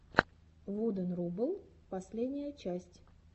вуден рубл последняя часть